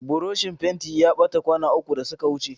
Burushin fentin ya ɓata kwana uku da suka wuce.